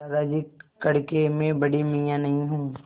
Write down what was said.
दादाजी कड़के मैं बड़े मियाँ नहीं हूँ